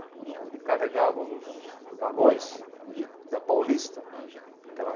Então ele carregava os vagões de da Paulista, aquela.